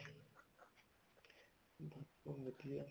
ਬੱਸ ਵਧੀਆ